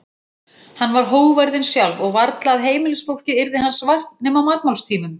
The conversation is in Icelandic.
Hann var hógværðin sjálf og varla að heimilisfólkið yrði hans vart nema á matmálstímum.